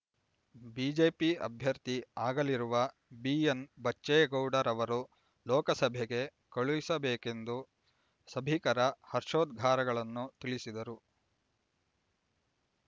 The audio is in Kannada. ಬಿಜೆಪಿ ಅಭ್ಯರ್ಥಿ ಆಗಲಿರುವ ಬಿಎನ್ ಬಚ್ಚೇಗೌಡರವರು ಲೋಕಸಭೆಗೆ ಕಳುಹಿಸಬೇಕೆಂದು ಸಭಿಕರ ಹರ್ಷೋದ್ಘಾರಗಳನ್ನು ತಿಳಿಸಿದರು